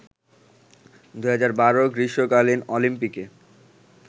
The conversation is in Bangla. ২০১২ গ্রীষ্মকালীন অলিম্পিকে